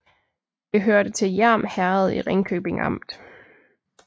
Det hørte til Hjerm Herred i Ringkøbing Amt